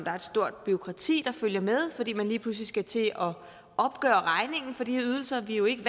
er et stort bureaukrati der følger med fordi man lige pludselig skal til at opgøre regningen for de ydelser vi er jo ikke